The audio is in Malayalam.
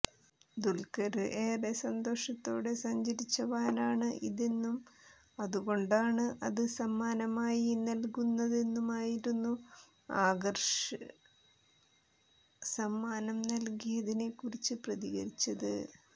ദുല്ഖര് ഏറെ സന്തോഷത്തോടെ സഞ്ചരിച്ച വാനാണ് ഇതെന്നും അതുകൊണ്ടാണ് അത് സമ്മാനമായി നല്കുന്നതെന്നുമായിരുന്നു ആകര്ഷ് സമ്മാനം നല്കിയതിനെ കുറിച്ച് പ്രതികരിച്ചത്